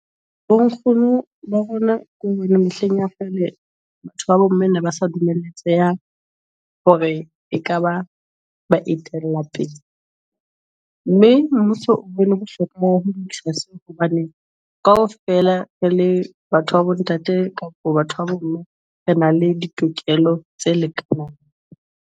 Bonkgono bo rona ke hona mehleng ya kgale. Batho ba bomme ne ba sa dumeletseha hore ekaba ba etella pele, mme mmuso o bone le bohlokwa hobane kaofela re le batho ba bontate kapo batho ba bomme re na le ditokelo tse lekanang.